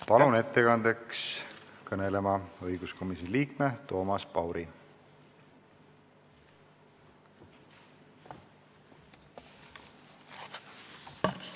Palun ettekandeks siia kõnelema õiguskomisjoni liikme Toomas Pauri!